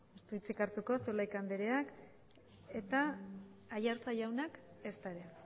ez du hitzik hartuko zulaika andreak eta aiartza jaunak ezta ere